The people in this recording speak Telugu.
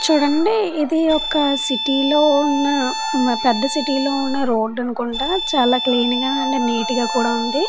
చూడండి ఇది ఒక సిటీలో ఉన్న పెద్ద సిటీ లో ఉన్న రోడ్డు అనుకుంట చాలా క్లీన్ గా అండ్ నీట్ గా కూడా ఉంది.